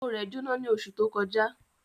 Oko rẹ̀ Jóná ní oṣù tó kọjá